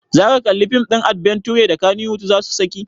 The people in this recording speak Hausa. Zaka kalli fim ɗin adbenture da kannywood zasu saki?